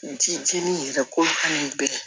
Ji jeni yɛrɛ ko ka n'u biri